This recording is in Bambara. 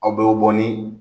Aw bɛɛ bɛ bɔ ni